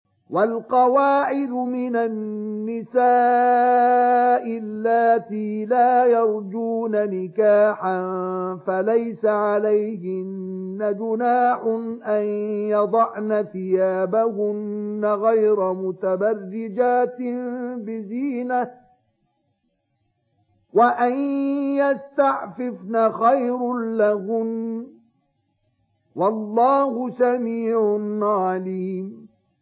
وَالْقَوَاعِدُ مِنَ النِّسَاءِ اللَّاتِي لَا يَرْجُونَ نِكَاحًا فَلَيْسَ عَلَيْهِنَّ جُنَاحٌ أَن يَضَعْنَ ثِيَابَهُنَّ غَيْرَ مُتَبَرِّجَاتٍ بِزِينَةٍ ۖ وَأَن يَسْتَعْفِفْنَ خَيْرٌ لَّهُنَّ ۗ وَاللَّهُ سَمِيعٌ عَلِيمٌ